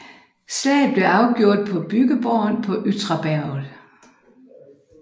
Slaget blev afgjort på bygdeborgen på Ytraberget